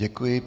Děkuji.